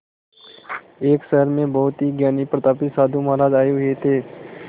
एक शहर में बहुत ही ज्ञानी प्रतापी साधु महाराज आये हुए थे